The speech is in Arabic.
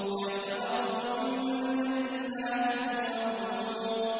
كَمْ تَرَكُوا مِن جَنَّاتٍ وَعُيُونٍ